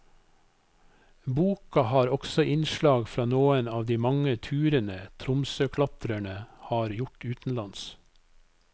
Boka har også innslag fra noen av de mange turene tromsøklatrere har gjort utenlands.